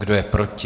Kdo je proti?